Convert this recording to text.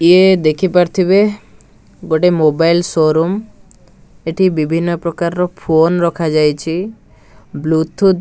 ଇୟେ ଦେଖିପାରୁଥିବେ ଗୋଟେ ମୋବାଇଲ ସୋରୁମ ଏଠି ବିଭିନ୍ନ ପ୍ରକାରର ଫୋନ ରଖାଯାଇଛି ବ୍ଲୁ ଟୁଥ ।